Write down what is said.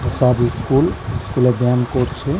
এসব ইস্কুল । স্কুল -এ বেয়াম করছে।